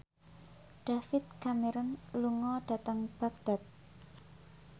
David Cameron lunga dhateng Baghdad